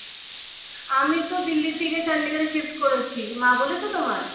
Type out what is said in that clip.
আমি তো দিল্লি থেকে চন্ডিগড়ে shift করেছি। মা বলেছে তোমায়